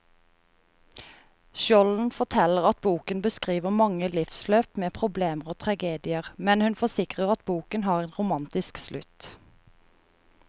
Skjolden forteller at boken beskriver mange livsløp med problemer og tragedier, men hun forsikrer at boken har en romantisk slutt.